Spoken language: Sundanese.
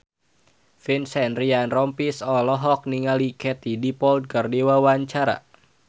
Vincent Ryan Rompies olohok ningali Katie Dippold keur diwawancara